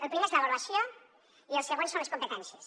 el primer és l’avaluació i el següent són les competències